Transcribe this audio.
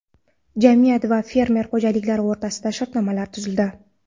Jamiyat va fermer xo‘jaliklari o‘rtasida shartnomalar tuzildi.